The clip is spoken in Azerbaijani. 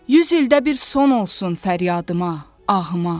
Yüz ildə bir son olsun fəryadıma, ağıma.